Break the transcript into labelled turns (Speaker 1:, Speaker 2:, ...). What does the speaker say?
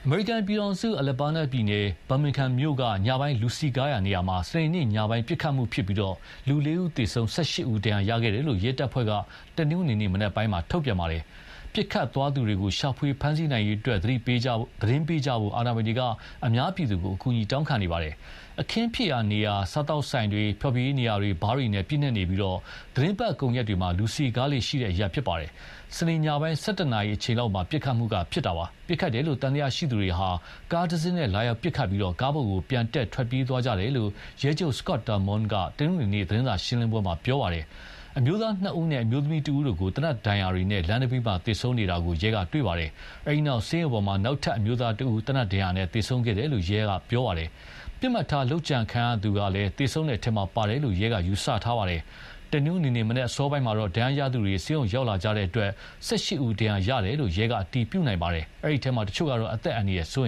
Speaker 1: မေရိကန်ပြည်ထောင်စု Alabam ပြည်နယ် Birmingham မြို့က ညပိုင်းလူစည်ကားရာနေရာမှာ စနေနေ့ညပိုင်း ပစ်ခတ်မှုဖြစ်ပြီး လေးဦးသေဆုံး၊ ၁၈ ဦး ဒဏ်ရာရခဲ့တယ်လို့ ရဲတပ်ဖွဲ့က တနင်္ဂနွေနေ့မနက်ပိုင်းမှာထုတ်ပြန်ပါတယ်။ ပစ်ခတ်သွားသူတွေကို ရှာဖွေဖမ်းဆီးနိုင်ရေး သတင်းပေးကြဖို့ အာဏာပိုင်တွေက အများအပြည်သူကို အကူအညီတောင်းခံနေပါတယ်။ အခင်းဖြစ်ရာနေရာဟာ စားသောက်ဆိုင်တွေ၊ ဖျော်ဖြေရေးနေရာတွေ ဘားတွေနဲ့ ပြည့်နှက်နေပြီး သီတင်းပတ်ကုန်ရက်တွေမှာ လူစည်ကားလေ့ရှိတဲ့ အရပ်ဖြစ်ပါတယ်။စနေ ညပိုင်း ၁၁ နာရီအချိန်လောက်မှာ ပစ်ခတ်မှုဖြစ်တာပါ။ ပစ်ခတ်တယ်လို့သံသယရှိသူတွေဟာ ကားတစင်းနဲ့လာရောက်ပစ်ခတ်ပြီး ကားပေါ်ပြန်တက် ထွက်ပြေးသွားကြတယ်လို့ ရဲချုပ် Scott Thurmond က တနင်္ဂနွေမနက် သတင်းစာရှင်းလင်းပွဲမှာပြောပါတယ်။ အမျိုးသားနှစ်ဦးနဲ့ အမျိုးသမီးတဦးတို့ကို သေနက်ဒဏ်ရာတွေနဲ့ လမ်းနံဘေး သေဆုံးနေတာကို ရဲကတွေ့ခဲ့ပါတယ်။ အဲဒီနောက် နောက်အမျိုးသားတဦးကတော့ သေနတ်ဒဏ်ရာနဲ့ပဲ ဆေးရုံမှာ သေဆုံးခဲ့တယ်လို့ ရဲက ပြောပါတယ်။ ပစ်မှတ်ထားလုပ်ကြံခံရသူက သေဆုံးတဲ့အထဲ ပါတယ်လို့ ရဲက ယူဆထားပါတယ်။ တနင်္ဂနွေမနက် အစောပိုင်းမှာတော့ ဒဏ်ရာရသူတွေ ဆေးရုံရောက်လာကြတဲ့အတွက် ၁၈ ဦး ဒဏ်ရာရခဲ့တယ်လို့ ရဲက အတည်ပြုနိုင်ပါတယ်။ အဲဒီအထဲ တချို့ကတော့ အသက်အန္တရ
Speaker 2: ယ်စိုးရ